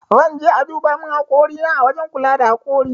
Zan je aduba min hakori na ã wajen kula da hakori.